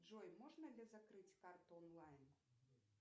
джой можно ли закрыть карту онлайн